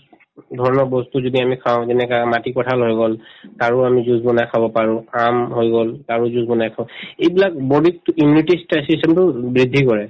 ধৰি লওক বস্তু যদি আমি খাওঁ যেনেকা মাটিকঁঠাল হৈ গল তাৰো আমি juice বনাই খাব পাৰো আম হৈ গল তাৰো juice বনাই খাওঁ এইবিলাক body তো immunity তো বৃদ্ধি কৰে